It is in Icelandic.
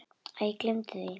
Æ, gleymdu því.